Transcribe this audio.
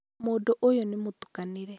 mũndũ ũyũ nĩ mũtukanĩre